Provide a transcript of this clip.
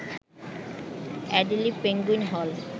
Adelie penguin হল